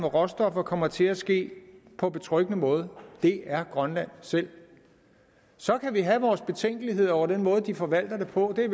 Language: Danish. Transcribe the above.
råstoffer kommer til at ske på betryggende måde og det er grønland selv så kan vi have vores betænkeligheder over den måde de forvalter det på det